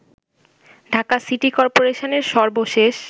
Dhaka city করপোরেশনের সর্বশেষ